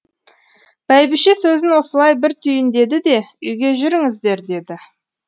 бәйбіше сөзін осылай бір түйіндеді де үйге жүріңіздер деді